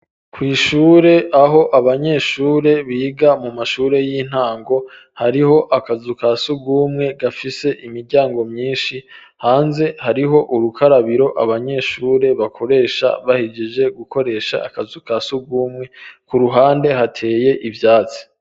Kw'ishure, aho abanyeshure biga, mu mashure y'intango, hariho akazu ka surwumwe, gafise imiryango myinshi; hanze, hariho urukarabiro, abanyeshure bakoresha, bahejeje gukoresha, akazu ka surwumwe; ku ruhande, hateye ivyatsi.